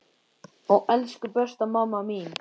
Ó elsku besta mamma mín.